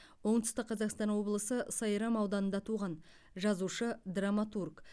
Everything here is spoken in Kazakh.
оңтүстік қазақстан облысы сайрам ауданында туған жазушы драматург